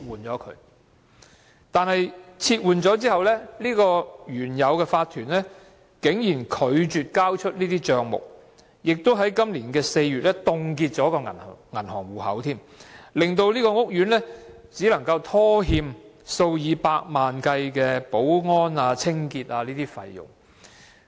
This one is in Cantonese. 然而，該法團被撤換後，竟然拒絕交出帳目，更在今年4月凍結了銀行戶口，令屋苑只可拖欠數以百萬元計的保安及清潔費用。